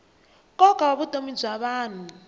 nkoka wa vutomi bya vanhu